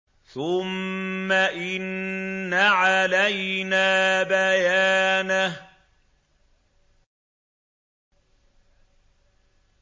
ثُمَّ إِنَّ عَلَيْنَا بَيَانَهُ